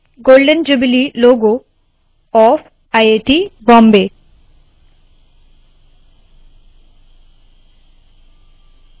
golden jubilee logo of iit bombay golden jubilee logo of I I T Bombay